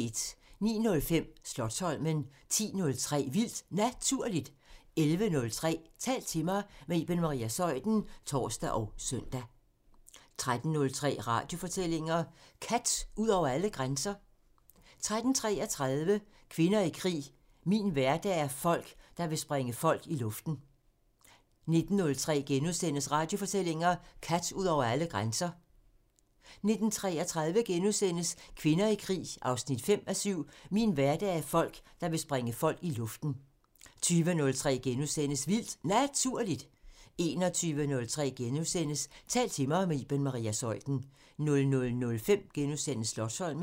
09:05: Slotsholmen 10:03: Vildt Naturligt 11:03: Tal til mig – med Iben Maria Zeuthen (tor og søn) 13:03: Radiofortællinger: Kat ud over alle grænser 13:33: Kvinder i krig 5:7 – "Min hverdag er folk, der vil sprænge folk i luften" 19:03: Radiofortællinger: Kat ud over alle grænser * 19:33: Kvinder i krig 5:7 – "Min hverdag er folk, der vil sprænge folk i luften" * 20:03: Vildt Naturligt * 21:03: Tal til mig – med Iben Maria Zeuthen * 00:05: Slotsholmen *